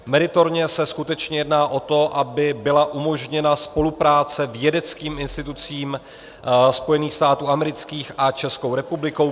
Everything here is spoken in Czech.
Meritorně se skutečně jedná o to, aby byla umožněna spolupráce vědeckým institucím Spojených států amerických a České republiky.